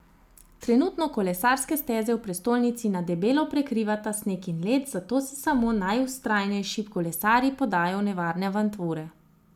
Trenutno kolesarske steze v prestolnici na debelo prekrivata sneg in led, zato se samo najvztrajnejši kolesarji podajajo v nevarne avanture.